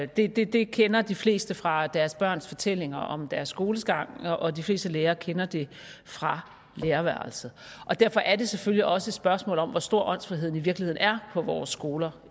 der det det kender de fleste fra deres børns fortællinger om deres skolegang og de fleste lærere kender det fra lærerværelset derfor er det selvfølgelig også et spørgsmål om hvor stor åndsfriheden i virkeligheden er på vores skoler